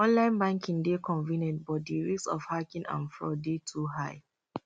online banking dey convenient but di risk of hacking and fraud dey too high